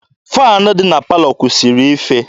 Faanị dị na palọ kwụsịrị ife.